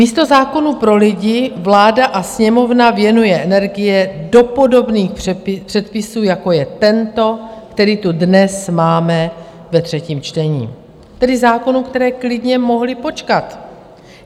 Místo zákonů pro lidi vláda a Sněmovna věnují energii do podobných předpisů, jako je tento, který tu dnes máme ve třetím čtení, tedy zákonů, které klidně mohly počkat.